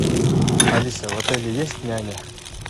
алиса в отеле есть няня